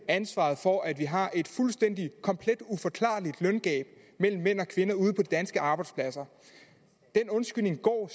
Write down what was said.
ansvaret for at vi har et fuldstændig uforklarligt løngab mellem mænd og kvinder ude på de danske arbejdspladser den undskyldning går